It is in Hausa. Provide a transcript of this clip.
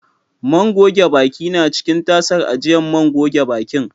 Man goge baki na ciki tasar ajiyan man gogen bakin.